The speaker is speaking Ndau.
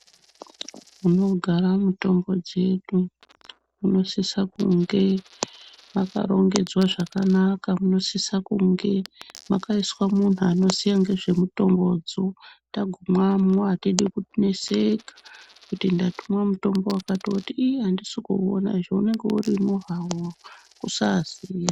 Kunogara mutombo dzedu kunosisa kunge mwakarongedzwa zvakanaka kunosisa kunge mwakaiswa muntu anoziya ngezvemutombodzo tagumamwo atidi kuneseka kuti ndatumwa mutombo wakati woti ii andisi kuona izvo unenge urimwo hawo kusazi..